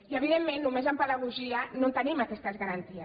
i evidentment només amb pedagogia no tenim aquestes garanties